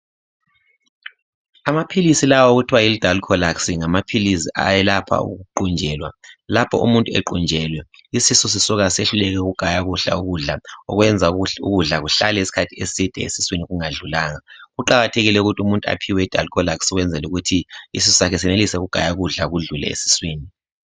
Amapills lawa okuthwa yiDilcolax ngamapills ayelepha ukuqunjelwa lapho umuntu equnjelwe isisu sisuka sehluleke ukugaya kuhle ukudla okwenza ukuthi ukudla kuhlale isikhathi eside esiswini kungadlulanga kuqakathekile ukuthi umuntu aphiwe iDilcolax ukwenzela ukuthi isisu sakhe senelise ukugaya ukudla kudlule esiswini